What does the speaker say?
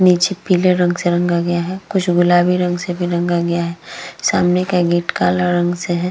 नीचे पीले रंग से रंगा गया है। कुछ गुलाबी रंग से भी रंगा गया है। सामने का गेट काला रंग से है।